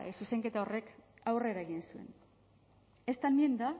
zuzenketa horrek aurrera egin zuen esta enmienda